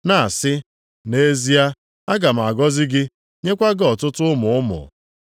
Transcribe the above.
na-asị, “Nʼezie aga m agọzi gị, nyekwa gị ọtụtụ ụmụ ụmụ.” + 6:14 \+xt Jen 22:17\+xt*